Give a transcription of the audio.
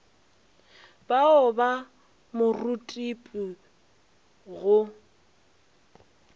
ba o fa morutipi go